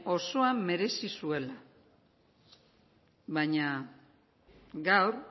osoa merezi zuela baina gaur